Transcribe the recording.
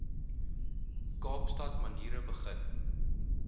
kaapstad maniere begin